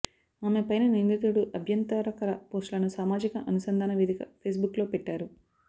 ఆమె పైన నిందితుడు అభ్యంతరకర పోస్టులను సామాజిక అనుసంధాన వేదిక ఫేస్బుక్లో పెట్టారు